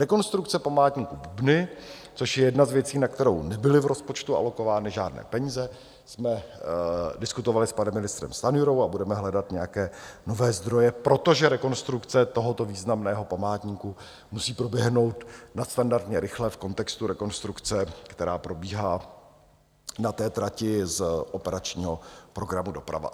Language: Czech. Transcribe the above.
Rekonstrukce Památníku Bubny, což je jedna z věcí, na kterou nebyly v rozpočtu alokovány žádné peníze, jsme diskutovali s panem ministrem Stanjurou a budeme hledat nějaké nové zdroje, protože rekonstrukce tohoto významného památníku musí proběhnout nadstandardně rychle v kontextu rekonstrukce, která probíhá na té trati z operačního programu Doprava.